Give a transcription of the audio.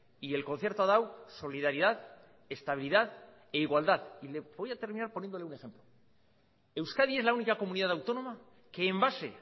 y el concierto ha dado solidaridad estabilidad e igualdad y voy a terminar poniéndole un ejemplo euskadi es la única comunidad autónoma que en base